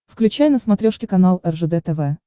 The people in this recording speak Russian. включай на смотрешке канал ржд тв